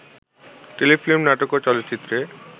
Telefilm, নাটক ও চলচ্চিত্রে